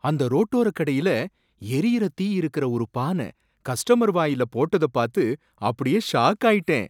அந்த ரோட்டோர கடையில எரியற தீ இருக்குற ஒரு பான கஸ்டமர் வாயில போட்டத பாத்து அப்படியே ஷாக் ஆயிட்டேன்.